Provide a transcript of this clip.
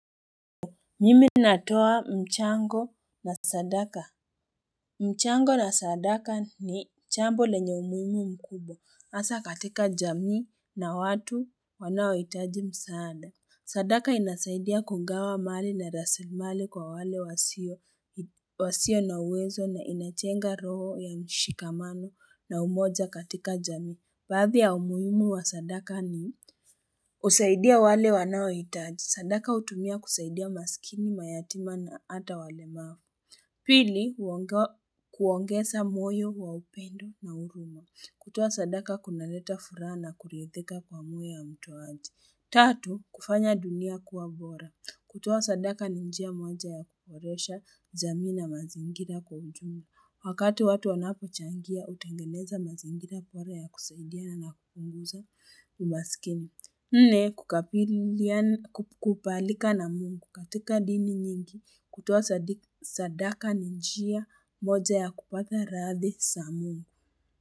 Mimi natoa mchango na sadaka mchango na sadaka ni jambo lenye umuimu mkubwa Asa katika jamii na watu wanao itaji msaada sadaka inasaidia kungawa mali na rasimali kwa wale wasio na uwezo na inajenga roho ya mshikamano na umoja katika jamii Baadhi ya umuhimu wa sadaka ni husaidia wale wanawitaji. Sadaka hutumia kusaidia masikini, mayatima na ata wale maa. Pili, kuongeza moyo wa upendo na huruma. Kutoa sadaka kunaleta furaha na kuridhika kwa moyo ya mtoaji. Tatu, kufanya dunia kuwa bora. Kutoa sadaka ni njia moja ya kuboresha jamii, na mazingira kwa ujumla. Wakati watu wanapo changia, hutengeneza mazingira bora ya kusaidia na kupunguza umasikini. Nne kukabalika na mungu katika dini nyingi kutoa sadaka ni njia moja ya kupata radhi za mungu.